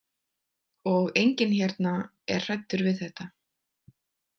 Og enginn hérna er hræddur við þetta.